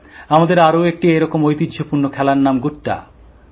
আমাদের আরও একটি এরকম ঐতিহ্যপূর্ণ খেলার নাম ড্যাঙগুলি